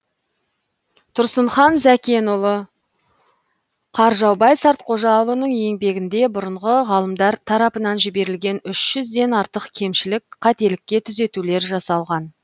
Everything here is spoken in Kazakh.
тұрсынхан зәкенұлы қаржаубай сартқожаұлының еңбегінде бұрынғы ғалымдар тарапынан жіберілген үш жүзден артық кемшілік қателікке түзетулер жасалған